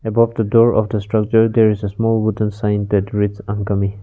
about the door after structure there is a small wooden sign that reads uncome.